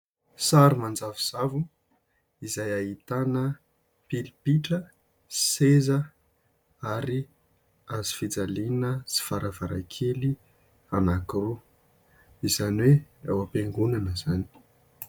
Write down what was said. Sary manjavozavo izay ahitana pilipitra, seza, ary hazo fijaliana sy varavarankely anankiroa. Izany hoe ao am-piangonana izany.